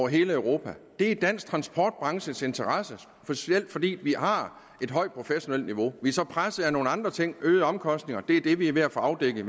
hele europa det er i dansk transportbranches interesse specielt fordi vi har et højt professionelt niveau man så presset af nogle andre ting øgede omkostninger det er det vi er ved at få afdækket